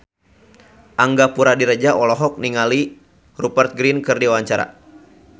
Angga Puradiredja olohok ningali Rupert Grin keur diwawancara